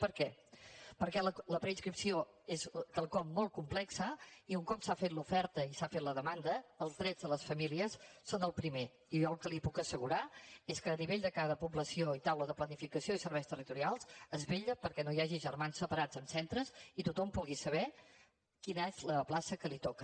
per què perquè la preinscripció és quelcom molt complex i un cop s’ha fet l’oferta i s’ha fet la demanda els drets de les famílies són el primer i jo el que li puc assegurar és que en l’àmbit de cada població i taula de planificació i serveis territorials es vetlla perquè no hi hagi germans separats en centres i tothom pugui saber quina és la plaça que li toca